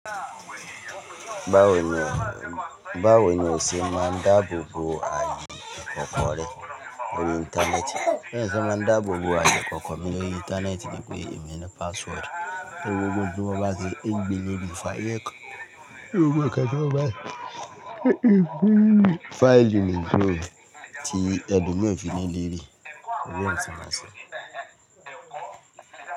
Ba woni, ose maa n daabo bo ayé kòkòre lórí Íńtánẹ́ẹ̀tì. Ẹni tí wọ́n ṣe ma dáàbò bo ayé kòkò mì lórí Íńtánẹ́ẹ̀tì ni pé emi ni password, e wo gbogbo wọn bá ṣe ń gbe léèrí fàyè ki Ewé wo kẹ́kẹ̀ẹ́ wọ bá ṣe ń gbin léèrí fàyè kà. File ni ìjọ ti ẹ dùn ló fi léèrí, ọ̀rẹ́ mi ti ma ṣe.